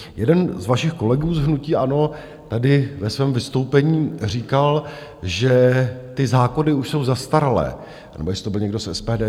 Jeden z vašich kolegů z hnutí ANO tady ve svém vystoupení říkal, že ty zákony už jsou zastaralé - nebo jestli to byl někdo z SPD?